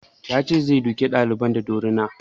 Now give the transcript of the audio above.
Ya ce zai duka ɗalibin da dorina